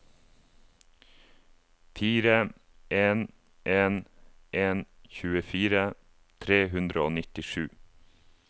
fire en en en tjuefire tre hundre og nittisju